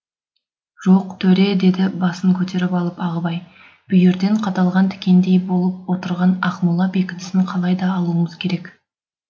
жоқ төре деді басын көтеріп алып ағыбай бүйірден қадалған тікендей болып отырған ақмола бекінісін қалай да алуымыз керек